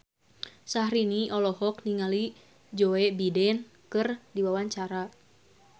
Syahrini olohok ningali Joe Biden keur diwawancara